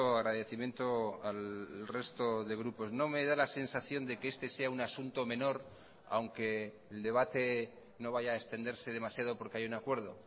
agradecimiento al resto de grupos no me da la sensación de que este sea un asunto menor aunque el debate no vaya a extenderse demasiado porque hay un acuerdo